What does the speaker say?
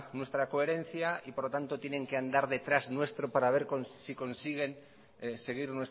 nuestra coherencia y por lo tanto tienen que andar detrás nuestro para ver si consiguen seguir